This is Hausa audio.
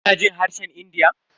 Kina jin harshen India?